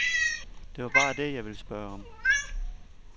Det var bare det, jeg ville spørge om.